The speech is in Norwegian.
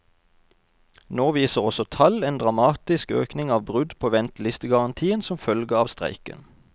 Nå viser også tall en dramatisk økning av brudd på ventelistegarantien som følge av streiken.